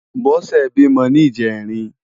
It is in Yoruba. Bose bímò ni ijèrín